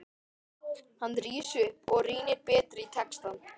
Hann rís upp og rýnir betur í textann.